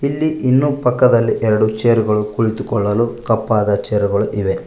ಇಲ್ಲಿ ಇನ್ನು ಪಕ್ಕದಲ್ಲಿ ಎರಡು ಚೇರ್ ಗಳು ಕುಳಿತುಕೊಳ್ಳಲು ಕಪ್ಪಾದ ಚೇರುಗಳು ಇವೆ.